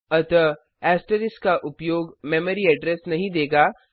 अतः ऐस्ट्रीक का उपयोग मेमरी एड्रेस नहीं देगा